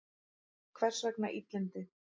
Hvers vegna illindi?